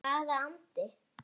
Hvaða andi?